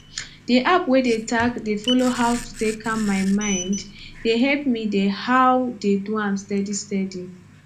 di app wey dey tack dey follow how to take calm my mind dey help me dey ah do am steady steady